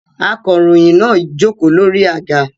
Akọ̀ròyìn náà jókòó lórí àga